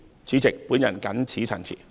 主席，我謹此陳辭。